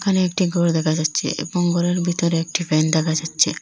এখানে একটি ঘর দেখা যাচ্ছে এবং ঘরের ভিতরে একটি ফ্যান দেখা যাচ্ছে।